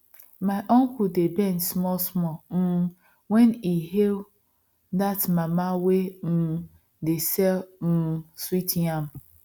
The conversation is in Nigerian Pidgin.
my uncle dey bend smallsmall um when he hail that mama wey um dey sell um sweet yam